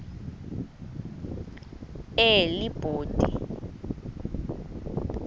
elibode